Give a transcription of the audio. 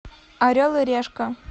орел и решка